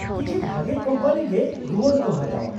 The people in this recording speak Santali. ᱠᱤᱪᱷᱤ ᱵᱷᱟᱜᱮ ᱠᱳᱢᱯᱟᱱᱤ ᱜᱮ ᱨᱩᱣᱟᱹᱲ ᱠᱚ ᱦᱟᱛᱟᱣᱟ ᱾